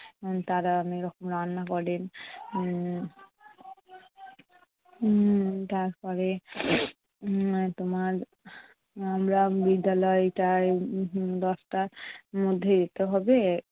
তারা অনেক রকম রান্না করেন উম উম তারপরে উম তোমার আহ আমরা বিদ্যালয়টায় উম দশটার মধ্যে যেতে হবে।